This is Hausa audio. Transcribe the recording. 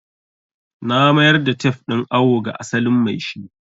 Na mayar da tef din awo ga asalin maishi